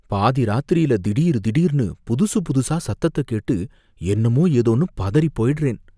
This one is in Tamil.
பாதி ராத்திரியில திடீர் திடீர்னு புதுசுபுதுசா சத்தத்தை கேட்டு என்னமோ ஏதோன்னு பதறிப்போயிடுறேன்.